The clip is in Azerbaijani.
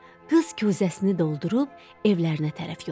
Qız küzəsini doldurub evlərinə tərəf yollandı.